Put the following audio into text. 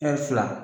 fila